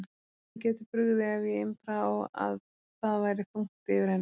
Henni gæti brugðið ef ég impraði á að það væri þungt yfir henni.